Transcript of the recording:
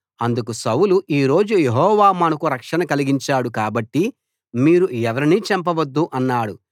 అందుకు సౌలు ఈ రోజు యెహోవా మనకు రక్షణ కలిగించాడు కాబట్టి మీరు ఎవరినీ చంపవద్దు అన్నాడు